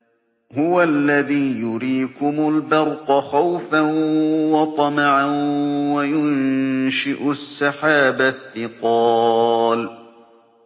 هُوَ الَّذِي يُرِيكُمُ الْبَرْقَ خَوْفًا وَطَمَعًا وَيُنشِئُ السَّحَابَ الثِّقَالَ